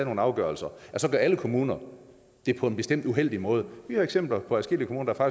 nogle afgørelser så gør alle kommuner det på en bestemt uheldig måde vi har eksempler på adskillige kommuner der